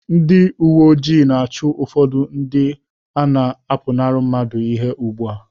Ndị uwe ojii na-achụ ụfọdụ ndị na-apụnara mmadụ ihe ugbu a